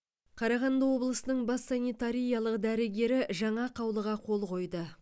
қарағанды облысының бас санитариялық дәрігері жаңа қаулыға қол қойды